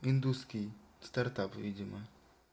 индусский стартап видимо